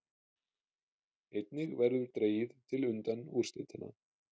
Einnig verður dregið til undanúrslitanna